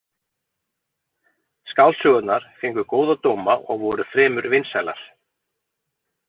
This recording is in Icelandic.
Skáldsögurnar fengu góða dóma og voru fremur vinsælar.